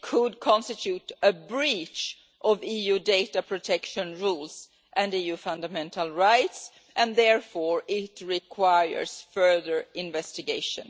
could constitute a breach of EU data protection rules and EU fundamental rights and, therefore, it requires further investigation.